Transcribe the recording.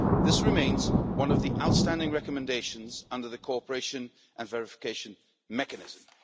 This remains one of the outstanding recommendations under the Cooperation and Verification Mechanism.